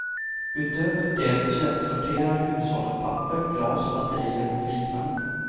Utöver det källsorterar hushållen papper, glas, batterier och liknande.